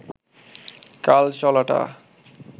কাল চলাটা